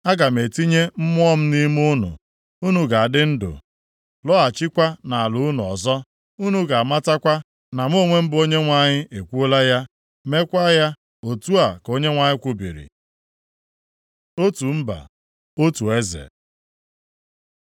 Aga m etinye Mmụọ m nʼime unu, unu ga-adị ndụ, lọghachikwa nʼala unu ọzọ. Unu ga-amatakwa na mụ onwe m bụ Onyenwe anyị, ekwuola ya, meekwa ya, otu a ka Onyenwe anyị kwubiri.’ ” Otu mba, otu eze